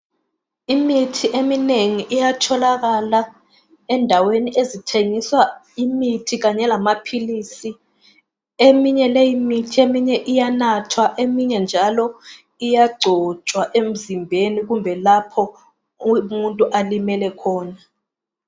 imithi eminengi iyatholakala ezindweni ezithengisa imithi lamaphilisi eminye leyi mithi eminye iyanathwa eminye njalo iyagcotshwa emzimbeni kumbe lapho alimele khona